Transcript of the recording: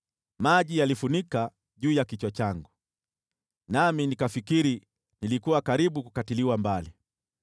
maji yalifunika juu ya kichwa changu, nami nikafikiri nilikuwa karibu kukatiliwa mbali.